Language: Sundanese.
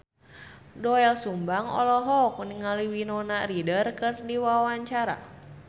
Doel Sumbang olohok ningali Winona Ryder keur diwawancara